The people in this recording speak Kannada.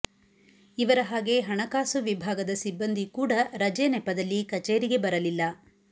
ಇವರ ಹಾಗೆ ಹಣಕಾಸು ವಿಭಾಗದ ಸಿಬ್ಬಂದಿ ಕೂಡ ರಜೆ ನೆಪದಲ್ಲಿ ಕಚೇರಿಗೆ ಬರಲಿಲ್ಲ